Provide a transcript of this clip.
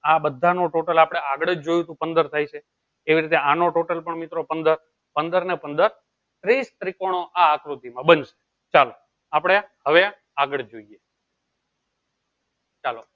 આં બધા નું total આપળે આગળ જ જોયું થું પંદર થાય છે એવી રીતે આનો total મિત્રો પંદર પંદર ને પંદર ત્રીસ ત્રીકોનો આ આકૃતિ માં બનશે ચાલો આપળે હવે આગળ જોયીયે ચાલો